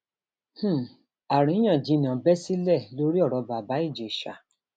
um àríyànjiyàn bẹ sílẹ lórí ọrọ bàbá ìjèṣà